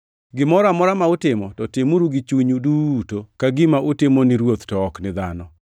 Gimoro amora ma utimo, to timuru gi chunyu duto ka gima utimo ni Ruoth to ok ni dhano,